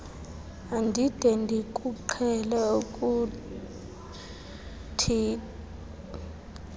andide ndikuqhele ukutitsha